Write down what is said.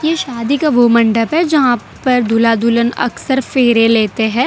ये शादी का वो मंडप है जहां पर दूल्हा दुल्हन अक्सर फेरे लेते हैं।